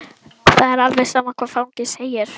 Það er alveg sama hvað fangi segir.